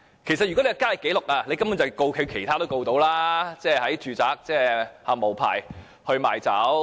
其實，如果有交易紀錄，根本可以控告他在住宅無牌賣酒。